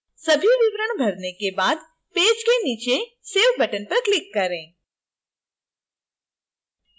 सभी विवरण भरने के बाद पेज के नीचे save button पर click करें